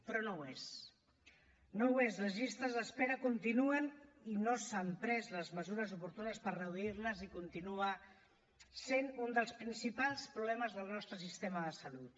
però no ho és no ho és les llistes d’espera continuen i no s’han pres les mesures oportunes per reduir les i continua sent un dels principals problemes del nostre sistema de salut